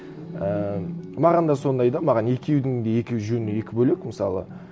і маған да сондай да маған екеудің де екі жөні екі бөлек мысалы